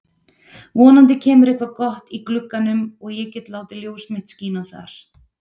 Vonandi kemur eitthvað gott í glugganum og ég get látið ljós mitt skína þar.